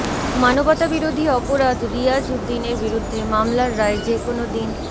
মানবতাবিরোধী অপরাধ রিয়াজ উদ্দিনের বিরুদ্ধে মামলার রায় যেকোনো দিন